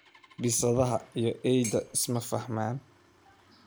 Bisadaha iyo eyda isma faxman.